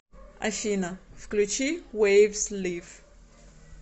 афина включи вэйвс лив